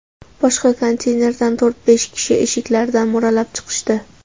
Boshqa konteynerdan to‘rt-besh kishi eshiklaridan mo‘ralab chiqishdi.